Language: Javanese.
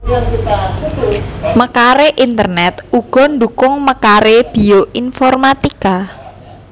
Mekaré internèt uga ndhukung mekaré bioinformatika